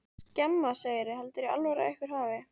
Skemma, segirðu. heldurðu í alvöru að einhver hafi.